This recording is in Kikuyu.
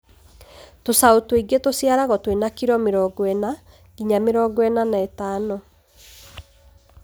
Tũcaũ tũingĩ tũciaragwo twĩ na kiro mĩrongo ĩna nginya mĩrongo ĩna na ĩtano.